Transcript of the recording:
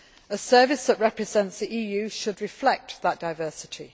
A service that represents the EU should reflect that diversity.